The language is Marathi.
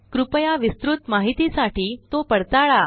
कृपया विस्तृत माहितीसाठी तो पडताळा